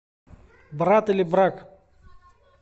брат или брак